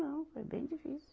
Não. Foi bem difícil.